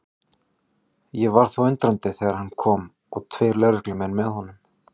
Ég varð þó undrandi þegar hann kom og tveir lögreglumenn með honum.